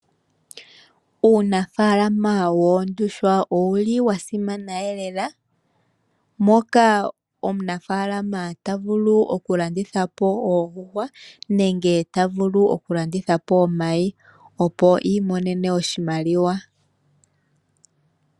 Uunafaalama woondjuhwa owu li wa simana lela, moka omunafaakama ta vu oku landithapo oondjuhwa nenge, ta vulu oku landithapo omayi, opo imonene oshimaliwa.